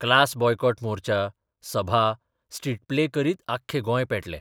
Class boycott मोर्चा, सभा, street play करीत आख्खें गोंय पेटलें.